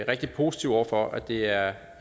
rigtig positiv over for at det er